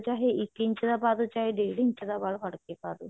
ਚਾਹੇ ਇੱਕ ਇੰਚ ਦਾ ਪਾ ਲੋ ਚਾਹੇ ਡੇਢ ਇੰਚ ਦਾ ਪਾ ਲੋ ਫੜ ਕਿ ਪਾ ਲੋ